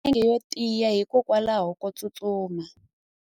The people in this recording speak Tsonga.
u na milenge yo tiya hikwalaho ko tsustuma